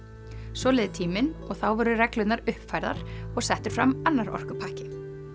svo leið tíminn og þá voru reglurnar uppfærðar og settur fram annar orkupakki